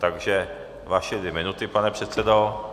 Takže vaše dvě minuty, pane předsedo.